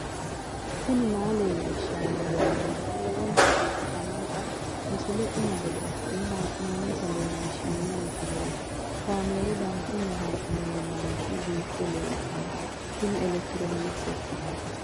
tini maa leelishshanno yaannohura lowonta biiffanota misile xuma gede assine haa'noonnita leellishshanno misileeti kaameru danchunni haa'noonni lamboe biiffe leeeltanno tini elekirtiroonkisete